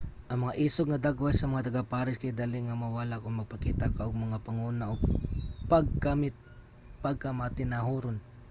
ang mga isog nga dagway sa mga taga-paris kay dali nga mawala kon magpakita ka og mga panguna nga pagkamatinahuron